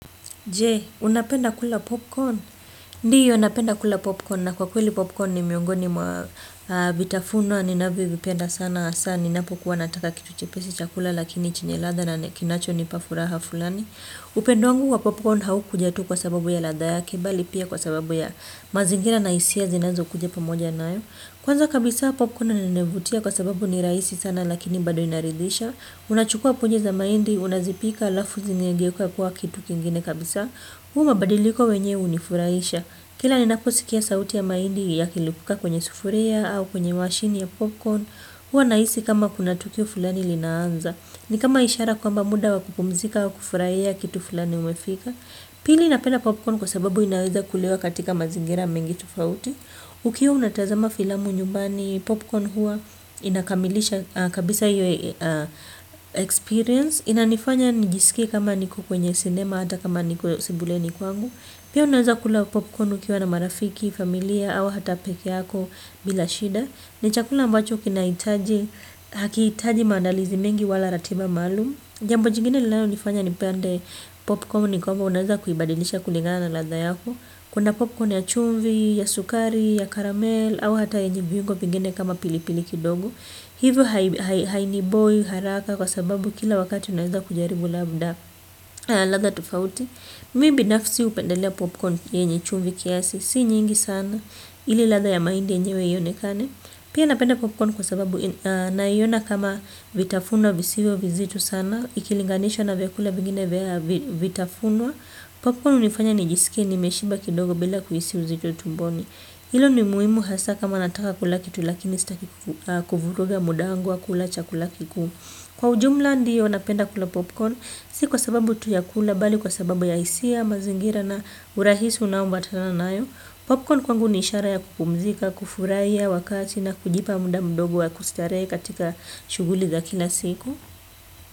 Je, unapenda kula popcorn. Ndiyo napenda kula popcorn na kwa kweli popcorn ni miungoni mwa vitafuno ninavyovipenda sana hasa ninapokuwa nataka kitu chepesi cha kula lakini chenye ladha na kinachonipa furaha fulani. Upendo wangu wa popcorn haukuja tu kwa sababu ya ladha yake bali pia kwa sababu ya mazingira na hisia zinazokuja pamoja nayo. Kwanza kabisa popcorn inanivutia kwa sababu ni rahisi sana lakini bado inaridhisha. Unachukua punje za mahindi, unazipika alafu zinageuka kuwa kitu kingine kabisa. Huu mabadiliko wenye unifurahisha. Kila ninaposikia sauti ya mahindi yakilipuka kwenye sufuria au kwenye mashini ya popcorn hua nahisi kama kuna tukio fulani linaanza. Ni kama ishara kwamba muda wa kupumzika wa kufurahia kitu fulani umefika. Pili napenda popcorn kwa sababu inaweza kulewa katika mazingira mengi tofauti ukiwa unatazama filamu nyumbani popcorn hua inakamilisha kabisa hiyo experience inanifanya nijisikie kama niko kwenye sinema hata kama niko sebuleni kwangu pia unaweza kula popcorn ukiwa na marafiki, familia au hata peke yako bila shida ni chakula ambacho kinahitaji, hakihitaji maandalizi mengi wala ratiba maalumu jambo jingine lilanonifanya nipende popcorn ni kwamba unaweza kuibadilisha kulingana na ladha yako. Kuna popcorn ya chumvi, ya sukari, ya karamel au hata yenye viungo vingine kama pilipili kidogo. Hivyo hainiboi haraka kwa sababu kila wakati unaweza kujaribu labda ladha tofauti. Mi binafsi hupendelea popcorn yenye chumvi kiasi. Si nyingi sana ili ladha ya mahindi yenyewe ionekane. Pia napenda popcorn kwa sababu naiona kama vitafunwa visivyo vizitu sana. Ikilinganisha na vyakula vingine vya vitafunwa kwa kuwa hunifanya nijiskie nimeshiba kidogo bila kuhisi uzito tumboni. Ilo ni muhimu hasaa kama nataka kula kitu lakini sitaki kuvuruga muda wangu wa kula chakula kikuu. Kwa ujumla ndiyo napenda kula popcorn. Si kwa sababu tu ya kula bali kwa sababu ya hisia mazingira na urahisi unaoambatana nayo. Popcorn kwangu ni ishara ya kupumzika, kufurahia wakati na kujipa muda mdogo wa kustarehe katika shughuli za kila siku.